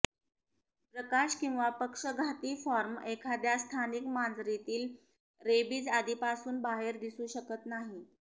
प्रकाश किंवा पक्षघाती फॉर्म एखाद्या स्थानिक मांजरीतील रेबीज आधीपासून बाहेर दिसू शकत नाही